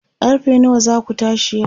karfe nawa zaku tashi yau?